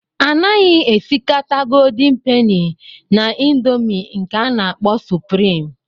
A naghị esikata Goldin peni na ịndomii nke a na-akpọ suprịm.